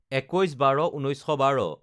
২১/১২/১৯১২